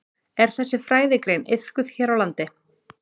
Er þessi fræðigrein iðkuð hér á landi?